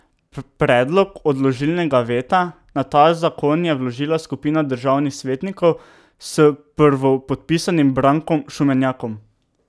Predlog odložilnega veta na ta zakon je vložila skupina državnih svetnikov s prvopodpisanim Brankom Šumenjakom.